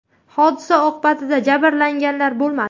Hodisa oqibatida jabrlanganlar bo‘lmadi.